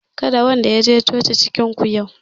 Kada wanda ya je coci cikin ku yau